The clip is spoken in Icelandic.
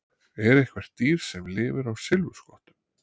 Er eitthvert dýr sem lifir á silfurskottum?